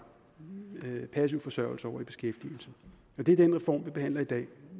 passiv forsørgelse over i beskæftigelse det er den reform vi behandler i dag